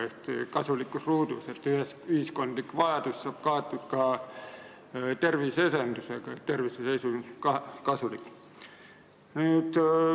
See on kasulikkus ruudus: ühiskondlik vajadus tegeleda terviseedendusega saab kaetud ja see on tervise seisukohast kasulik.